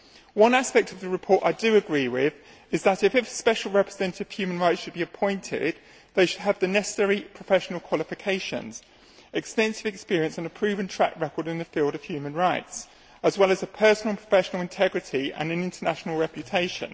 One aspect of the report I do agree with is that if a Special Representative for Human Rights should be appointed, they should have the necessary professional qualifications, extensive experience and a proven track record in the field of human rights, as well as personal and professional integrity and an international reputation.